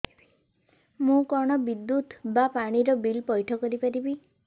ମୁ କଣ ବିଦ୍ୟୁତ ବା ପାଣି ର ବିଲ ପଇଠ କରି ପାରିବି